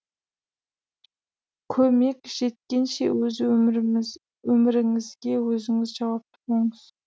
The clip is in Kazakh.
көмек жеткенше өз өміріңізге өзіңіз жауапты болыңыз